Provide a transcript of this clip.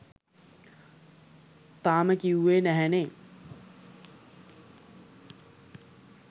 තාම කිව්වේ නැහැනේ